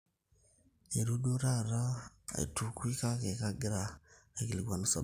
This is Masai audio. eitu duo taata eitukui kake kagira aikilikuanu sababu